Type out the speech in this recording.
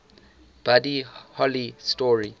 buddy holly story